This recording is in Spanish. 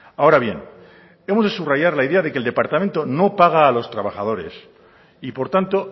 ahora bien hemos de subrayar la idea de que el departamento no paga a los trabajadores y por tanto